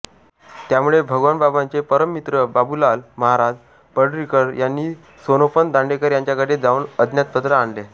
त्यामुळे भगवानबाबांचे परममित्र बाबुलाल महाराज पाडळीकर यांनी सोनोपंत दांडेकर यांच्याकडे जाऊन आज्ञापत्र आणले